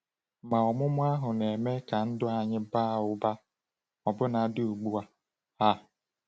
Ma ọmụma ahụ na-eme ka ndụ anyị baa ụba ọbụnadị ugbu a. a.